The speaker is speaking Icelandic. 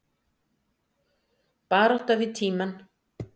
Barátta við tímann